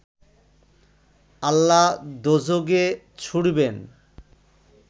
আল্লাহ দোযখে ছুঁড়বেন